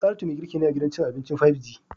Saratu mai girki ne a gidan cin abincin "5G"